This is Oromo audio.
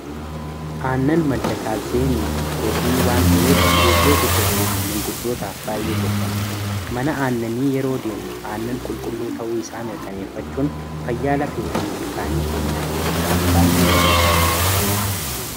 aannan madda kaalseemii fi pirootiinii waan ta'eef ijoollee guddattuu fi manguddootaaf baay'ee gorfama mana aannanii yeroo deemnu aannan qulqulluu ta'uu isaa mirkaneeffachuun fayyaala fee fi ilkaanii keenyaa eeguudhaaf baay'ee nu gargaara